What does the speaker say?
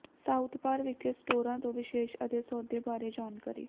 ਸਾਊਥਪਾਰ ਵਿਖੇ ਸਟੋਰਾਂ ਤੋਂ ਵਿਸ਼ੇਸ਼ ਅਤੇ ਸੌਦੇ ਬਾਰੇ ਜਾਣਕਾਰੀ